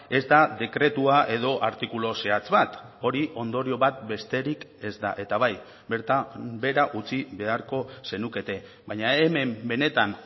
ez da dekretua edo artikulu zehatz bat hori ondorio bat besterik ez da eta bai bertan behera utzi beharko zenukete baina hemen benetan